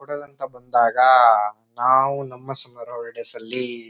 ಕೊಡಗಂತಾ ಬಂದಾಗ ನಾವು ನಮ್ಮ ಸಮ್ಮರ್ ಹಾಲಿಡೇಸ್ ಅಲ್ಲಿ--